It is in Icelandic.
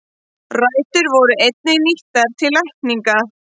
Rætur voru einnig nýttar til lækninga.